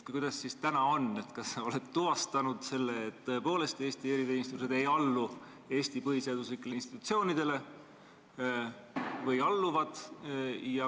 Kuidas siis täna on, kas sa oled tuvastanud selle, et Eesti eriteenistused tõepoolest ei allu Eesti põhiseaduslikele institutsioonidele, või nad alluvad?